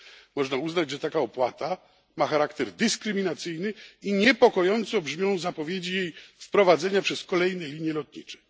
Można uznać, że taka opłata ma charakter dyskryminacyjny i niepokojąco brzmią zapowiedzi jej wprowadzenia przez kolejne linie lotnicze.